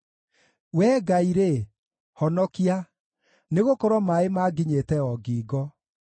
Wee Ngai-rĩ, honokia, nĩgũkorwo maaĩ maanginyĩte o ngingo.